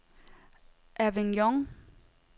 Avignon